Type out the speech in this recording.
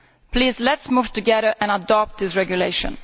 Please let us move together and adopt this regulation.